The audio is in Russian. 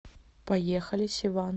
поехали севан